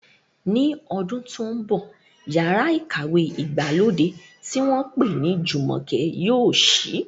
Ní ọdún tó ń bọ̀, yàrá ìkàwé ìgbàlódé tí wọ́n pè ní Jumoke yóò ṣí.